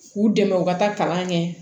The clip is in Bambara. K'u dɛmɛ u ka taa kalan kɛ